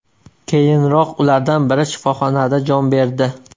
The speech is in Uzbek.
Keyinroq ulardan biri shifoxonada jon berdi.